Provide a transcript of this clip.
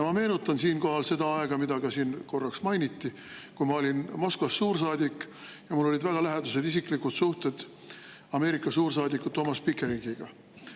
Me meenutan siinkohal seda aega, mida siin ka korraks mainiti, kui ma olin Moskvas suursaadik ja mul olid väga lähedased isiklikud suhted Ameerika suursaadiku Thomas Pickeringiga.